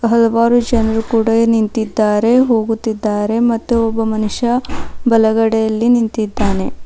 ಹಲವಾರು ಜನರು ಕೂಡ ನಿಂತಿದ್ದಾರೆ ಹೋಗುತ್ತಿದ್ದಾರೆ ಮತ್ತು ಒಬ್ಬ ಮನುಷ್ಯ ಬಲಗಡೆಯಲ್ಲಿ ನಿಂತಿದ್ದಾನೆ.